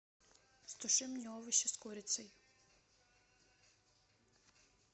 стуши мне овощи с курицей